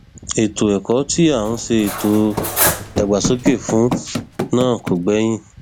ètò ẹkọ tí à ń ṣètò ìdàgbàsókè fún náà kò gbẹyìn